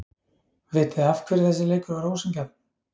Vitiði af hverju þessi leikur var ósanngjarn?